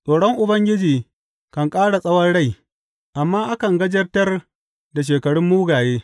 Tsoron Ubangiji kan ƙara tsawon rai, amma akan gajartar da shekarun mugaye.